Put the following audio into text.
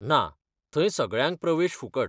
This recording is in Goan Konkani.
ना, थंय सगळ्यांक प्रवेश फुकट.